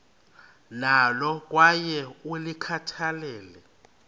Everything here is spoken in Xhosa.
nalo kwaye ulikhathalele